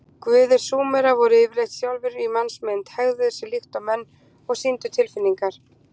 Guðir Súmera voru yfirleitt sjálfir í mannsmynd, hegðuðu sér líkt og menn og sýndu tilfinningar.